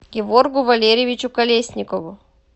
геворгу валерьевичу колесникову